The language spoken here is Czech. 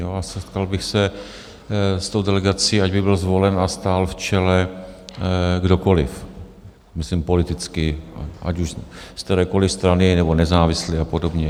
A setkal bych se s tou delegací, ať by byl zvolen a stál v čele kdokoliv - myslím politicky - ať už z kterékoliv strany, nebo nezávislý a podobně.